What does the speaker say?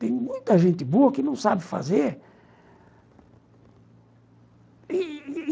Tem muita gente boa que não sabe fazer.